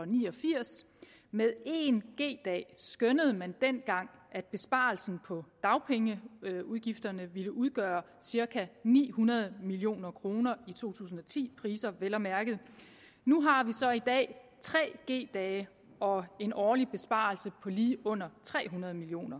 ni og firs med en g dag skønnede man dengang at besparelsen på dagpengeudgifterne ville udgøre cirka ni hundrede million kroner i to tusind og ti priser vel at mærke nu har vi så i dag tre g dage og en årlig besparelse på lige under tre hundrede million